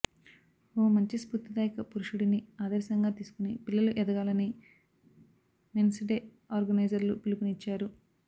ఓ మంచి స్ఫూర్తిదాయక పురుషుడిని ఆదర్శంగా తీసుకుని పిల్లలు ఎదగాలని మెన్స్ డే ఆర్గనైజర్లు పిలుపునిచ్చారు